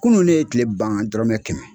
Kunun ne ye kile ban dɔrɔmɛ kɛmɛ